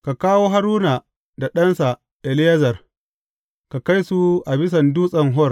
Ka kawo Haruna da ɗansa Eleyazar, ka kai su a bisan Dutsen Hor.